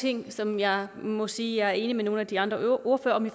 ting som jeg må sige jeg er enig med nogle af de andre ordførere i